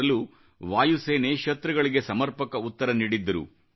1965 ರಲ್ಲೂ ವಾಯುಸೇನೆ ಶತೃಗಳಿಗೆ ಸಮರ್ಪಕ ಉತ್ತರ ನೀಡಿದ್ದರು